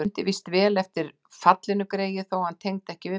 Hann mundi víst vel eftir fallinu greyið, þó hann tengdi það ekki við beinið.